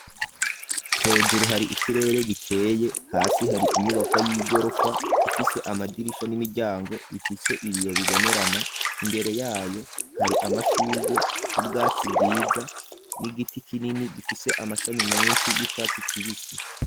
hejuru hari ikirere gikeye hasi hari inyubako y'igorofa ifise amadirisha n'imiryango bifise ibiyo bibonerana imbere yayo hari amashugwe n'ubwatsi bwiza n'igiti kinini gifise amashami menshi y'icatsi kibisi